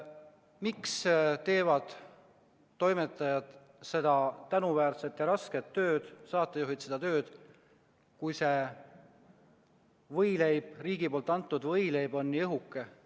Miks teevad toimetajad seda tänuväärset ja rasket tööd, samuti saatejuhid, kui riigi antud võileib on nii õhuke?